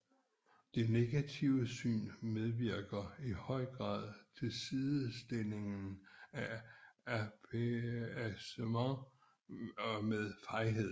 Dette negative syn medvirker i høj grad til sidestillingen af appeasement med fejhed